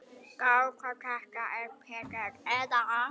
Gá hvort þetta er Pétur. eða